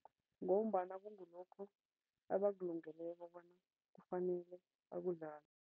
Ngombana kungulokho abakulungekelo bona kufanele bakudlale.